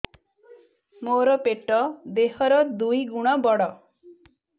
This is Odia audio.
ମୋର ପେଟ ଦେହ ର ଦୁଇ ଗୁଣ ବଡ